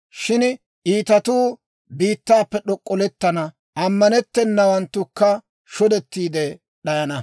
Shin iitatuu biittaappe d'ok'ollettana; ammanttennawanttukka shodettiide d'ayana.